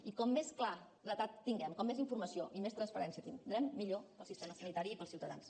i com més claredat tinguem com més informació i més transparència tindrem millor per al sistema sanitari i per als ciutadans